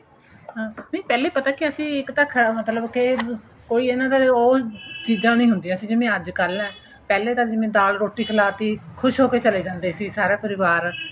ਹਾਂ ਨਹੀਂ ਪਹਿਲੇ ਪਤਾ ਕਿਹਾ ਸੀ ਇੱਕ ਤਾਂ ਮਤਲਬ ਕੇ ਕੋਈ ਇਹਨਾ ਦਾ ਉਹ ਚੀਜਾਂ ਨਹੀਂ ਹੁੰਦੀਆਂ ਸੀ ਜੋ ਅੱਜ ਕੱਲ ਏ ਪਹਿਲੇ ਤਾਂ ਜਿਵੇਂ ਦਾਲ ਰੋਟੀ ਖਲਾਤੀ ਖ਼ੁਸ ਹੋਕੇ ਚੱਲੇ ਜਾਂਦੇ ਸੀ ਸਾਰਾ ਪਰਿਵਾਰ